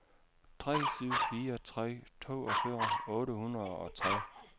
tre syv fire tre toogfyrre otte hundrede og tre